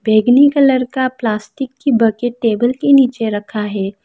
बेगनी colour का plastic की bucket table के नीचे रखा है।